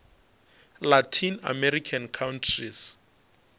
latin american countries